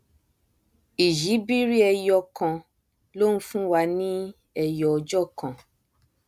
ìyíbiri ẹyo kan ló nfúnwa ni ẹyọ ọjọ kan